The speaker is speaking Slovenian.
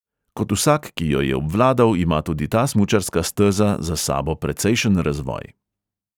Kot vsak, ki jo je obvladal, ima tudi ta smučarska steza za sabo precejšen razvoj.